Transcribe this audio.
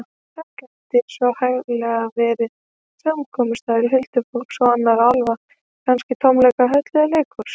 Þar gæti svo hæglega verið samkomustaður huldufólks og annarra álfa, kannski tónleikahöll eða leikhús.